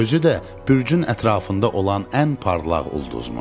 Özü də bürcün ətrafında olan ən parlaq ulduzmuş.